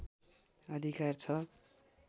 अधिकार छ